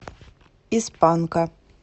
из панка